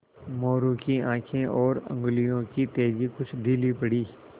मोरू की आँखें और उंगलियों की तेज़ी कुछ ढीली पड़ी